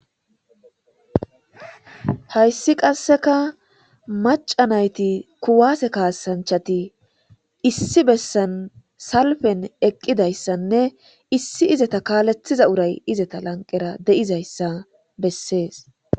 Hayssi qasseka maca nayti kuwaase kaasanchati issi bessan salfen eqqidayssanne issi izata kaalethiza uray izata lanqera de'izayssa bessees.